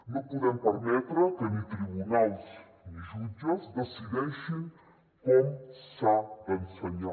no podem permetre que ni tribunals ni jutges decideixin com s’ha d’ensenyar